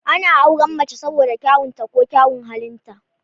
Ana auren mace saboda kyaun ta ko kyaun halin ta